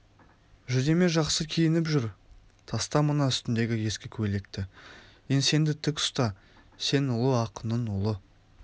жүдеме жақсы киініп жүр таста мына үстіндегі ескі көйлекті еңсеңді тк ұста сен ұлы ақынның ұлы